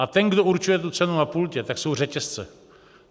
A ten, kdo určuje tu cenu na pultě, tak jsou řetězce.